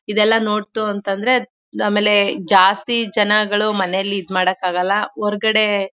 ಇದೆಲ್ಲ ನೋಡ್ತು ಅಂತಂದ್ರೆ ಆಮೇಲೆ ಜಾಸ್ತಿ ಜನಗಳು ಮನೇಲಿ ಇದ್ ಮಾಡಕ್ಕಾಗಲ್ಲ ಹೊರಗಡೆ--